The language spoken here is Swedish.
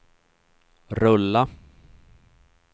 rulla